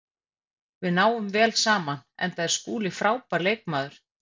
Við náum vel saman enda er Skúli frábær leikmaður.